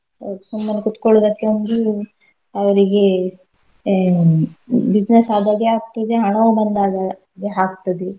ಒ ಸುಮ್ಮನೇ ಕೂತ್ಗೊಳೋದಕ್ಕೆ ಒಂದು ಅವ್ರಿಗೆ ಹ್ಮ್ business ಆದಾಗೆ ಆಗ್ತದೆ ಹಣವೂ ಬಂದಾಗೆ ಆಗ್ತದೆ.